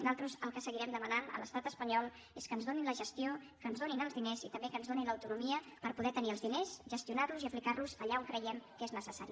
nosaltres el que seguirem demanant a l’estat espanyol és que ens donin la gestió que ens donin els diners i també que ens donin l’autonomia per poder tenir els diners gestionar los i aplicar los allà on creiem que és necessari